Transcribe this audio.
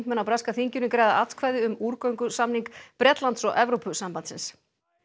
á breska þinginu greiða atkvæði um útgöngusamning Bretlands og Evrópusambandsins